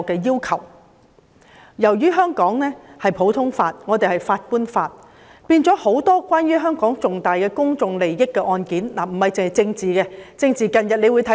由於香港實行普通法，遵循法官法，很多關乎香港重大公眾利益的案件，不僅政治案件，也備受關注。